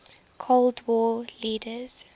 cold war leaders